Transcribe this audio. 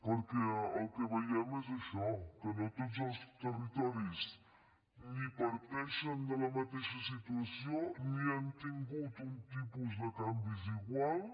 perquè el que veiem és això que no tots els territoris ni parteixen de la mateixa situació ni han tingut un tipus de canvis iguals